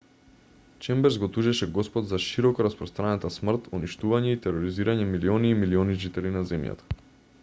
чемберс го тужеше господ за широкораспространета смрт уништување и тероризирање милиони и милиони жители на земјата